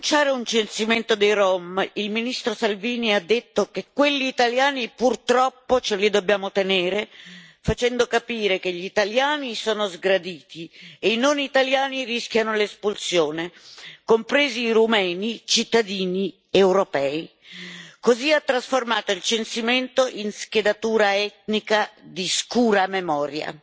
Signor Presidente, onorevoli colleghi, nell'annunciare un censimento dei rom, il ministro Salvini ha detto che quelli italiani, purtroppo, ce li dobbiamo tenere, facendo capire che gli italiani sono sgraditi e i non italiani rischiano l'espulsione, compresi i rumeni, cittadini europei. Così ha trasformato il censimento in schedatura etnica di scura memoria.